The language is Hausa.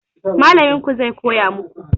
Mallamin ku zai koya maku